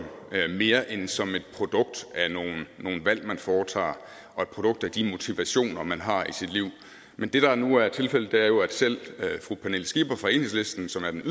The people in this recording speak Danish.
mere end som et produkt af nogle valg man foretager og et produkt af de motivationer man har i sit liv men det der nu er tilfældet er jo at selv fru pernille skipper fra enhedslisten som er den